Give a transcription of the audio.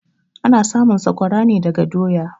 Ana samun sakwara ne daga doya.